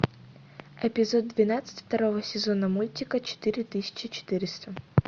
эпизод двенадцать второго сезона мультика четыре тысячи четыреста